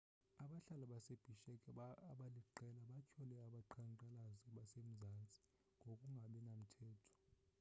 abahlali base-bishek abaliqela batyhole abaqhankqalazi basemzansi ngokungabinamthetho